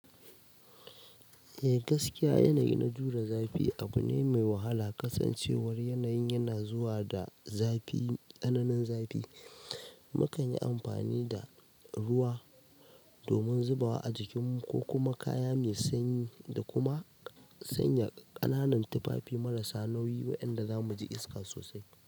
Eh gaskiya yanayi na jure zafi abu ne mai wahala. Kasancewar yanayin yana zuwa da zafi tsananin zafi. Mu kan yi amfani da ruwa domin zubawa a jikinmu ko kuma kaya mai sanyi da kuma sanya ƙananan tufafi marasa nauyi waɗanda zamu ji iska sosai.